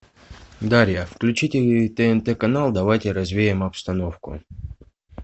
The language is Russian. дарья включите тнт канал давайте развеем обстановку